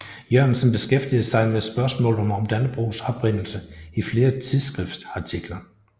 Jørgensen beskæftigede sig med spørgsmålet om Dannebrogs oprindelse i flere tidsskriftsartikler